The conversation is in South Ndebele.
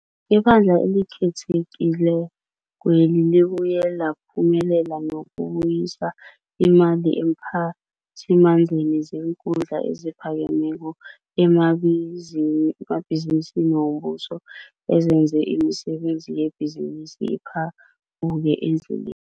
IBandla eliKhethekilekweli libuye laphumelela nokubuyisa imali eemphathimandleni zeenkhundla eziphakemeko emabhizinisini wombuso ezenze imisebenzi yebhizinisi ephambuke endleleni.